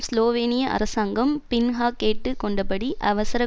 ஸ்லோவேனிய அரசாங்கம் பின்ஹா கேட்டு கொண்டபடி அவசர